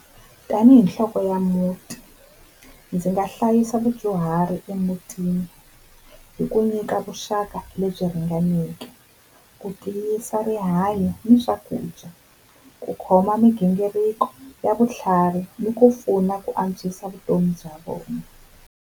Tani hi nhloko ya muti ndzi nga hlayisa vudyuhari emutini hi ku nyika vuxaka lebyi ringaneke, ku tiyisa rihanyo hi swakudya, ku khoma migingiriko ya vutlhari ni ku pfuna ku antswisa vutomi bya vona.